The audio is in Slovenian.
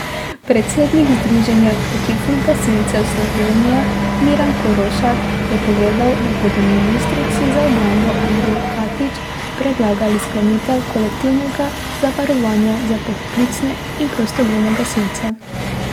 Predsednik Združenja poklicnih gasilcev Slovenije Miran Korošak je povedal, da bodo ministrici za obrambo Andreji Katič predlagali sklenitev kolektivnega zavarovanja za poklicne in prostovoljne gasilce.